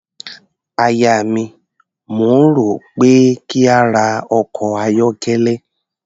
Aya mi, mò ń rò ó pé kí n ra ọkọ̀ ayọ́kẹ́lẹ́.